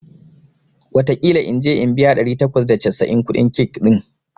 wataƙila in je in biya ɗari takwas da casa'in kuɗin cake ɗin